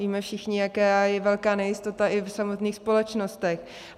Víme všichni, jak je velká nejistota i v samotných společnostech.